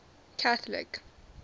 catholic